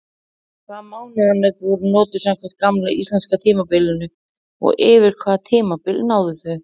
Hvaða mánaðanöfn voru notuð samkvæmt gamla íslenska tímatalinu og yfir hvaða tímabil náðu þau?